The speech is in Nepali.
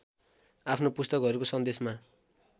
आफ्नो पुस्तकहरूको सन्देशमा